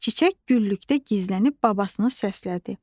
Çiçək güllükdə gizlənib babasını səslədi.